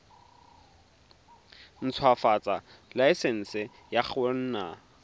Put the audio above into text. ntshwafatsa laesense ya go nna